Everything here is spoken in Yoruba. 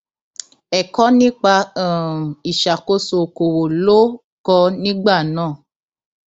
ẹkọ nípa um ìṣàkóso okòòwò ló kọ nígbà náà